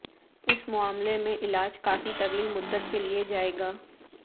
اس معاملے میں علاج کافی طویل مدت کے لے جائے گا